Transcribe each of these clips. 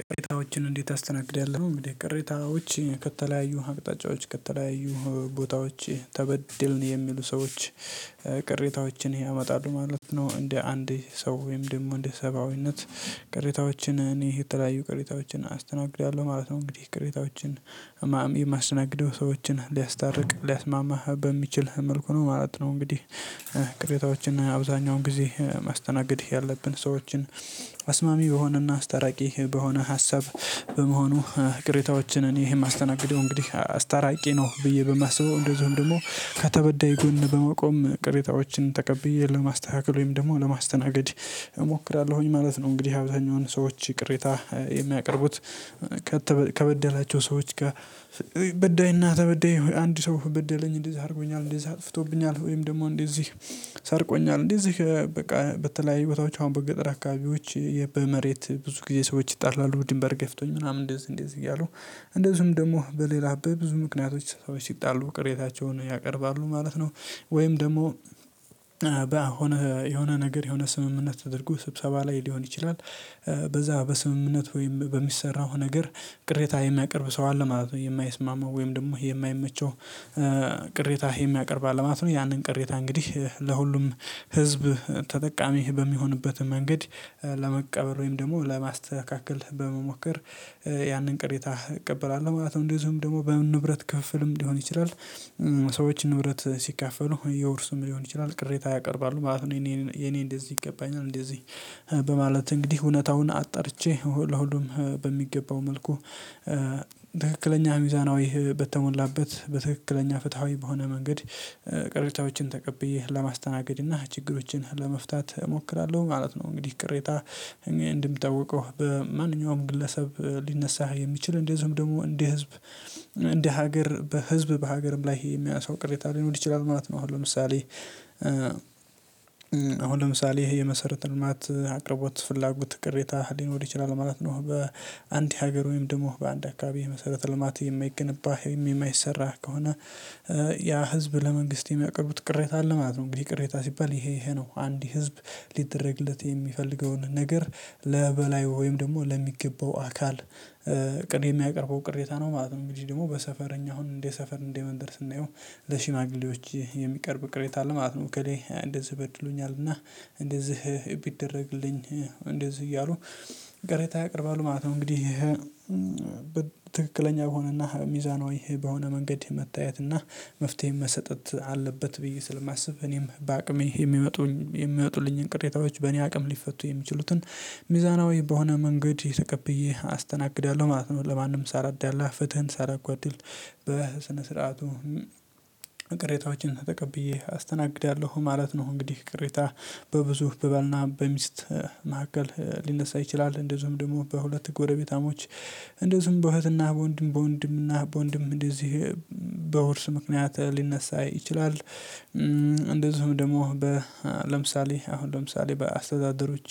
ቅሬታዎችን እንዴት አስተናግዳለሁ? እንግዲህ ቅሬታዎች ከተለያዩ አቅጣጫዎች ከተለያዩ ቦታዎች ተበደልን የሚሉ ሰዎች ቅሬታዎችን ያመጣሉ ማለት ነው። እንደ አንዴ ሰው ወይም ደግሞ እንደ ሰብአዊነት ቅሬታዎችን እኔ የተለያዩ ቅሬታዎችን አስተናግዳለሁ ማለት ነው። እንግዲህ ቅሬታዎችን ማስተነግደው ሰዎችን ሊያስታርቅ ሊያስማማ በሚችል መልኩ ነው ማለት ነው። እንግዲህ ቅሬታዎችን አብዛኛውን ጊዜ ማስተናገድ ያለብን ሰዎችን አስማሚ በሆነና አስታራቂ በሆነ ሀሳብ በመሆኑ ቅሬታዎችን እኔ የማስተናግደው እንግዲህ አስታራቂ ነው ብዬ በማስበው እንደዚሁም ደግሞ ከተበዳይ ጎን በመቆም ቅሬታዎችን ተቀብዬ ለማስተካከል ወይም ደግሞ ለማስተናገድ እሞክራለሁኝ ማለት ነው። እንግዲህ አብዛኛውን ሰዎች ቅሬታ የሚያቀርቡት ከበደላቸው ሰዎች ጋር በዳይ እና ተበደይ አንድ ሰው በደለኝ እንደዛ አድርጎኛል እንደዛ አጥፍቶብኛል ወይም ደግሞ እንደዚህ ሰርቆኛል። እንደዚህ በቃ በተለያዩ ቦታዎች አሁን በገጠር አካባቢዎች በመሬት ብዙ ጊዜ ሰዎች ይጣላሉ ድንበር ገፍቶኝ ምናምን እንደዚህ እንደዚህ እያሉ እንደዚሁም ደግሞ በሌላ በብዙ ምክንያቶች ሰዎች ሲጣሉ ቅሬታቸውን ያቀርባሉ ማለት ነው። ወይም ደግሞ በሆነ የሆነ ነገር የሆነ ስምምነት ተደርጎ ስብሰባ ላይ ሊሆን ይችላል። በዛ በስምምነት ወይም በሚሰራው ነገር ቅሬታ የሚያቀርብ ሰው አለ ማለት ነው የማይስማማው ወይም ደግሞ የማይመቸው ቅሬታ የሚያቀርብ አለ ማለት ነው። ያንን ቅሬታ እንግዲህ ለሁሉም ህዝብ ተጠቃሚ በሚሆንበት መንገድ ለመቀበል ወይም ደግሞ ለማስተካከል በመሞከር ያንን ቅሬታ እቀበላለሁ ማለት ነው። እንደዚሁም ደግሞ በንብረት ክፍፍልም ሊሆን ይችላል ሰዎች ንብረት ሲካፈሉ የውርሱም ሊሆን ይችላል ቅሬታ ያቀርባሉ ማለት ነው። የኔ የኔ እንደዚህ ይገባኛል እንደዚህ በማለት እንግዲህ እውነታውን አጠርቼ ለሁሉም በሚገባው መልኩ ትክክለኛ ሚዛናዊ በተሞላበት በትክክለኛ ፍትሃዊ በሆነ መንገድ ቅሬታዎችን ተቀብዬ ለማስተናገድ እና ችግሮችን ለመፍታት እሞክራለሁ ማለት ነው። እንግዲህ ቅሬታ እንድምተወቀው በማንኛውም ግለሰብ ሊነሳ የሚችል እንደዚሁም ደግሞ እንደ ህዝብ እንደ ሀገር በህዝብ በሀገርም ላይ ይሄ የሚያሳው ቅሬታ ሊኖር ይችላል ማለት ነው። አሁን ለምሳሌ አሁን ለምሳሌ ይሄ የመሰረተ ልማት አቅርቦት ፍላጎት ቅሬታ ሊኖር ይችላል ማለት ነው። በአንድ ሀገር ወይም ደግሞ በአንድ አካባቢ መሰረተ ልማት የማይገነባ ወይም የማይሰራ ከሆነ ያ ህዝብ ለመንግስት የሚያቀርቡት ቅሬታ አለ ማለት ነው። እንግዲህ ቅሬታ ሲባል ይሄ ይሄ ነው አንድ ህዝብ ሊደረግለት የሚፈልገውን ነገር ለበላይ ወይም ደግሞ ለሚገባው አካል ቅድ የሚያቀርበው ቅሬታ ነው ማለት ነው። እንግዲህ ደግሞ በሰፈረኛ አሁን እንዴ ሰፈር እንዴ መንደር ስናየው ለሽማግሌዎች የሚቀርብ ቅሬታ አለ ማለት ነው እከሌ እንደዚህ በድሎኛልና እንደዚህ ቢደረግልኝ እንደዚህ እያሉ ቅሬታ ያቀርባሉ ማለት ነው። እንግዲህ በትክክለኛ የሆነና ሚዛኖዊ በሆነ መንገድ መታየትና መፍትሄ መሰጠት አለበት ብዬ ስለማስብ እኔም በአቅሜ የሚመጡኝ የሚመጡልኝን ቅሬታዎች በእኔ አቅም ሊፈቱ የሚችሉትን ሚዛናዊ በሆነ መንገድ ተቀብዬ አስተናግዳለሁ ማለት ነው። ለማንም ሳለዳላ ፍትህን ሳላጎድል በስነ ስርዓቱ ቅሬታዎችን ተቀብዬ አስተናግዳለሁ ማለት ነው። እንግዲህ ቅሬታ በብዙ በበልና በሚስት መካከል ሊነሳ ይችላል እንደዚሁም ደግሞ በሁለት ጎረቤታሞች እንደዚሁም በእህትና በወንድም በወንድምና በወንድም እንደዚሁ በውርስ ምክንያት ሊነሳ ይችላል። እንደዚሁም ደግሞ ለምሳሌ አሁን ለምሳሌ በአስተዳደሮች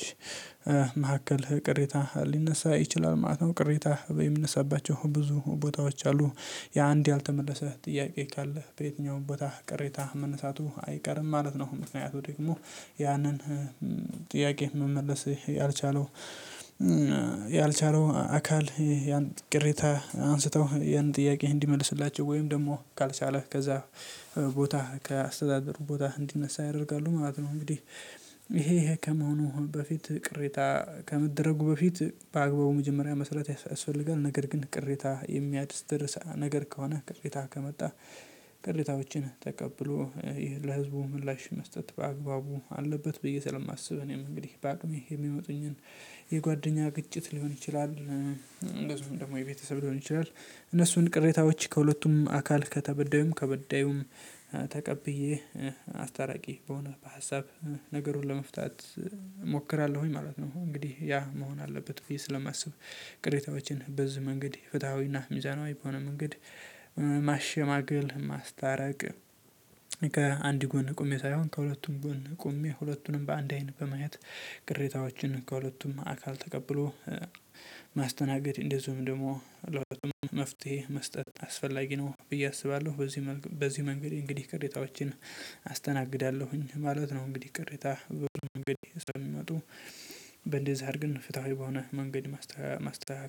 መካከል ቅሬታ ሊነሳ ይችላል ማለት ነው። ቅሬታ የሚነሳባቸው ብዙ ቦታዎች አሉ የአንድ ያልተመለሰ ጥያቄ ካለ በየትኛውም ቦታ ቅሬታ መነሳቱ አይቀርም ማለት ነው። ምክንያቱ ደግሞ ያንን ጥያቄ መመለስ ያልቻለው ያልቻለው አካል ያን ቅሬታ አንስተው ያን ጥያቄ እንዲመልስላቸው ወይም ደግሞ ካልቻለ ከዛ ቦታ ከአስተዳደሩ ቦታ እንዲነሳ ያደርጋሉ ማለት ነው። እንግዲህ ይሄ ከመሆኑ በፊት ቅሬታ ከመደረጉ በፊት በአግባቡ መጀመሪያ መስራት ያስፈልጋል። ነገር ግን ቅሬታ የሚያስደርስ ነገር ከሆነ ቅሬታ ከመጣ ቅሬታዎችን ተቀብሎ ለህዝቡ ምላሽ መስጠት በአግባቡ አለበት ብዬ ስለማስብ እኔም እንግዲህ በአቅሜ የሚመጡኝን የጓደኛ ግጭት ሊሆን ይችላል። እንደዚሁም ደግሞ የቤተሰብ ሊሆን ይችላል እነሱን ቅሬታዎች ከሁለቱም አካል ከተበዳዩም ከበዳዩም ተቀብዬ አስታራቂ በሆነ በሀሳብ ነገሩን ለመፍታት እሞክራለሁኝ ማለት ነው። እንግዲህ ያ መሆን አለበት ብዬ ስለማስብ ቅሬታዎችን በዚህ መንገድ ፍትሃዊና ሚዛናዊ በሆነ መንገድ ማሸማገል ማስታረቅ ከአንድ ጎን ቆሜ ሳይሆን ከሁለቱም ጎን ቆሜ ሁለቱንም በአንድ አይን በማየት ቅሬታዎችን ከሁለቱም አካል ተቀብሎ ማስተናገድ እንደዚሁም ደግሞ ለሁለቱም መስጠት አስፈላጊ ነው ብዬ አስባለሁ። በዚህ በዚህ መንገድ እንግዲህ ቅሬታዎቼን አስተናግዳለሁኝ ማለት ነው። እንግዲህ ቅሬታ በብዙ መንገድ ስለሚመጡ በእንደዚህ አድርገን ፍትሃዊ በሆነ መንገድ ማስተዋወቅ